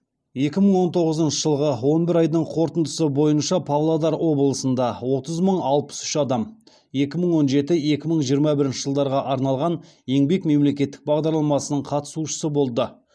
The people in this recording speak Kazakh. екі мың он тоғызыншы жылғы он бір айдың қорытындысы бойынша павлодар облысында отыз мың алпыс үш адам екі мың он жеті екі мың жиырма бірінші жылдарға арналған еңбек мемлекеттік бағдарламасының қатысушысы болды